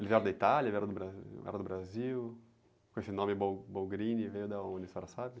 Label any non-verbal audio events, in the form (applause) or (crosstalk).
Eles vieram da Itália, vieram do Bra, eram do Brasil? Com esse nome, (unintelligible) veio de onde, a senhora sabe?